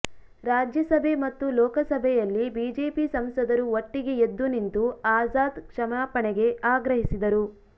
ರಾಜ್ಯಸಭೆ ಮತ್ತು ಲೋಕಸಭೆಯಲ್ಲಿ ಬಿಜೆಪಿ ಸಂಸದರು ಒಟ್ಟಿಗೆ ಎದ್ದು ನಿಂತು ಆಜಾದ್ ಕ್ಷಮಾಪಣೆಗೆ ಆಗ್ರಹಿಸಿದರು